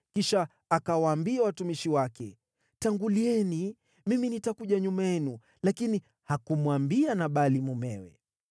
Kisha akawaambia watumishi wake, “Tangulieni; mimi nitakuja nyuma yenu.” Lakini hakumwambia Nabali mumewe.